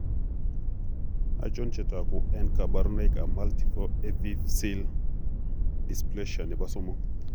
Achon chetogu ak kaborunoik ab Multiple epiphseal dysplasia nebo somok?